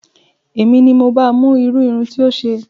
Èmi ni mo ba mú irú irun tí ó ṣe